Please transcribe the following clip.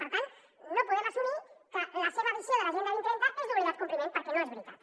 per tant no podem assumir que la seva visió de l’agenda dos mil trenta és d’obligat compliment per·què no és veritat